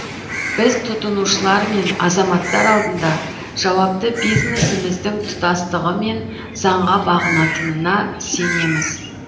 біз тұтынушылар мен азаматтар алдында жауапты бизнесіміздің тұтастығы мен заңға бағынатынына сенеміз